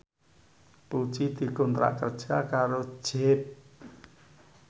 Puji dikontrak kerja karo Jeep